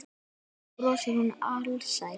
Svo brosir hún alsæl.